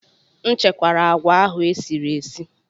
M chekwara agwa ahụ e sirila esi.